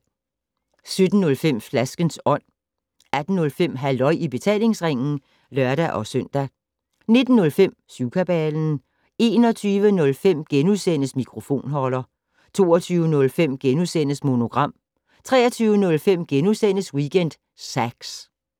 17:05: Flaskens Ånd 18:05: Halløj i betalingsringen (lør-søn) 19:05: Syvkabalen 21:05: Mikrofonholder * 22:05: Monogram * 23:05: Weekend Sax *